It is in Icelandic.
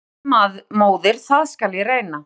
En fósturmóðir það skal ég reyna.